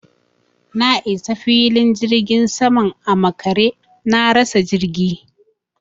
Na isa filin jirgin saman a makare, na rasa jirgi.